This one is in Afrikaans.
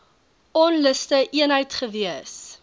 onluste eenheid gewees